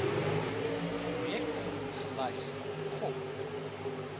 projekte gelys gop